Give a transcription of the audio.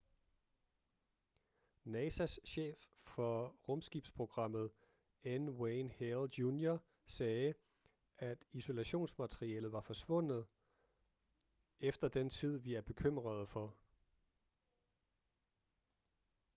nasas chef for rumskibsprogrammet n wayne hale jr sagde at isolationsmaterialet var forsvundet efter den tid vi er bekymrede for